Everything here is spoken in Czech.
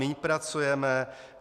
Méně pracujeme?